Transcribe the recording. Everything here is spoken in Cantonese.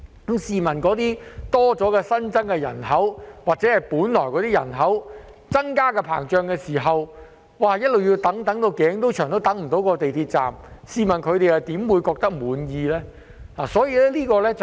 那些新增的人口或原本的人口增長，便要一直等待，"等到頸都長"也等不到那個港鐵站落成，試問他們怎會感到滿意呢？